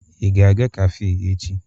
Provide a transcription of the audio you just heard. Ị ga-aga kafe echi?